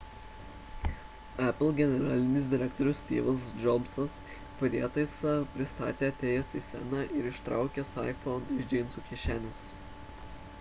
apple generalinis direktorius styvas džobsas prietaisą pristatė atėjęs į sceną ir išsitraukęs iphone iš džinsų kišenės